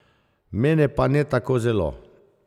Mene pa ne tako zelo.